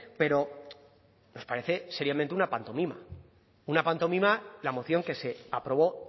pero nos parece seriamente una pantomima una pantomima la moción que se aprobó